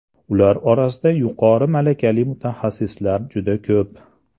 Ular orasida yuqori malakali mutaxassislar juda ko‘p.